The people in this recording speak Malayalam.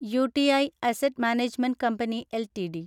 UTI asset management company LTD